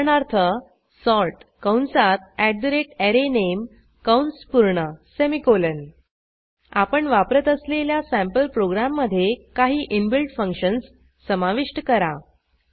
उदाहरणार्थ सॉर्ट कंसात arrayName कंस पूर्ण सेमिकोलॉन आपण वापरत असलेल्या सँपल प्रोग्रॅममधे काही इनबिल्ट फंक्शन्स समाविष्ट करा